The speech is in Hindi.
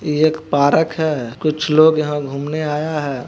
ये एक पारक है कुछ लोग यहाँ घूमने आया है।